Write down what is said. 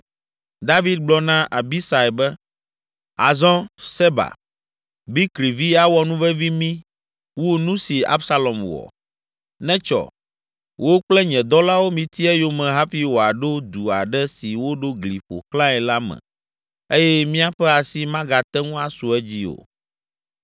David gblɔ na Abisai be, “Azɔ Seba, Bikri vi awɔ nuvevi mí wu nu si Absalom wɔ. Netsɔ! Wò kple nye dɔlawo miti eyome hafi wòaɖo du aɖe si woɖo gli ƒo xlãe la me eye míaƒe asi magate ŋu asu edzi o.”